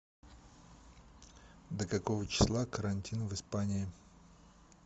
до какого числа карантин в испании